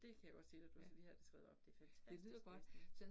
Det kan jeg godt sige dig, du skal lige have det skrevet op, det fantastisk læsning